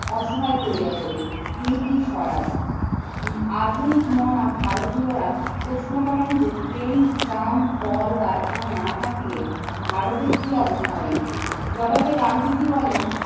অসহায় করিয়া তোলে। হিন্দি স্বরাজ আধুনিক মনা ভারতীয়রা প্রশ্ন করেন যে ট্রেন, ট্রাম, কলকারখানা না থাকলে ভারতের কি অবস্থা হইবে? জবাবে গান্ধীজি বলেন